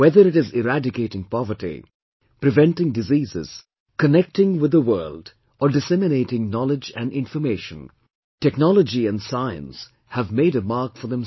Whether it is eradicating poverty, preventing diseases, connecting with the world, or disseminating knowledge and information, technology and science have made a mark for themselves